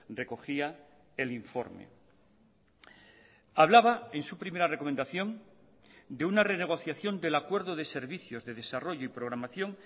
recogía el informe hablaba en su primera recomendación de una renegociación del acuerdo de servicios de desarrollo y programación